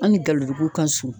An ni Galodugu ka surun..